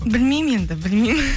білмеймін енді білмеймін